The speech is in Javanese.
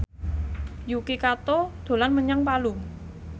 Yuki Kato dolan menyang Palu